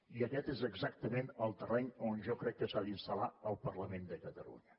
i aquest és exactament el terreny on jo crec que s’ha d’instal·lar el parlament de catalunya